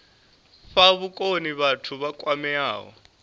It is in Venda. fha vhukoni vhathu vha kwameaho